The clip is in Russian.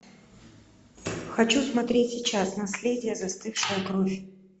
хочу смотреть сейчас наследие застывшая кровь